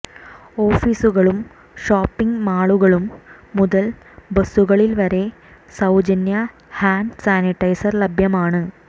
ഓഫീസുകളും ഷോപ്പിങ് മാളുകളും മുതൽ ബസ്സുകളിൽ വരെ സൌജന്യ ഹാൻഡ് സാനിറ്റൈസർ ലഭ്യമാണ്